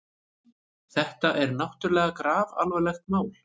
Þetta er náttúrlega grafalvarlegt mál.